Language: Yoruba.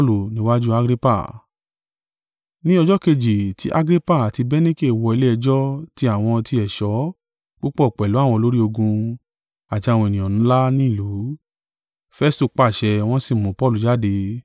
Ní ọjọ́ kejì, tí Agrippa àti Bernike wọ ilé ẹjọ́ ti àwọn ti ẹ̀ṣọ́ púpọ̀ pẹ̀lú àwọn olórí ogun àti àwọn ènìyàn ńlá ní ìlú, Festu pàṣẹ, wọ́n sì mú Paulu jáde.